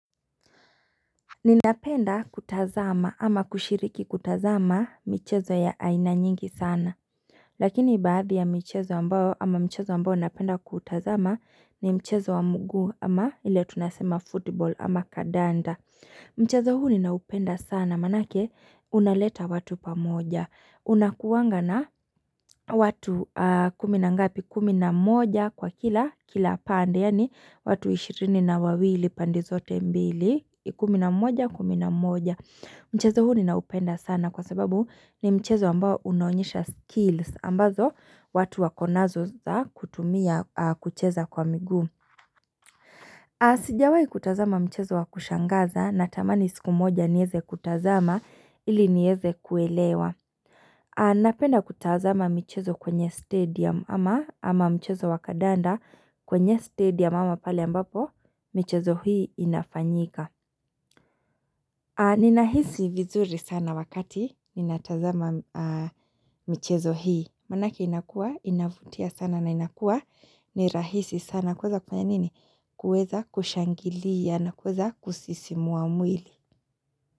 Ninapenda kutazama ama kushiriki kutazama michezo ya aina nyingi sana Lakini baadhi ya michezo ambao ama mchezo ambao napenda kutazama ni mchezo wa mguu ama ile tunasema football ama kamdanda. Mchezo huu ninaupenda sana manake unaleta watu pamoja. Unakuwanga na watu kumi na ngapi kumi na moja kwa kila kila pande yaani watu 20 na wawili pandi zote mbili. Kumi na moja kumi na moja. Mchezo huu ninaupenda sana kwa sababu ni mchezo ambao unaonyesha skills. Ambazo watu wako nazo za kutumia kucheza kwa miguu. Sijawai kutazama mchezo wakushangaza natamani siku moja nieze kutazama ili nieze kuelewa. Napenda kutazama mchezo kwenye stadium ama mchezo wa kandanda kwenye stadium ama pale ambapo mchezo hii inafanyika. Ninahisi vizuri sana wakati ninatazama mchezo hii. Manake inakuwa, inavutia sana na inakuwa ni rahisi sana. Kueza kwenye nini? Kuweza kushangilia na kuweza kusisimua mwili.